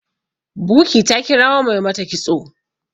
buky ta kirawo Mai mata kitso